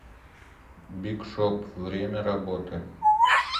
биг шоп время работы